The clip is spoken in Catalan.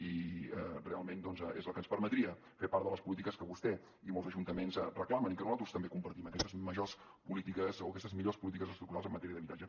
i realment doncs és la que ens permetria fer part de les polítiques que vostè i molts ajuntaments reclamen i que nosaltres també compartim aquestes majors polítiques o aquestes millors polítiques estructurals en matèria d’habitatge